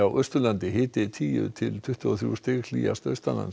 Austurlandi hiti tíu til tuttugu og þrjú stig hlýjast